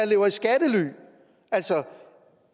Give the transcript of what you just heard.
lever i skattely altså